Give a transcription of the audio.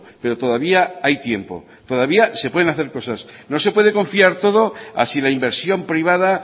pero todavía hay tiempo todavía se pueden hacer cosas no se puede confiar todo a si la inversión privada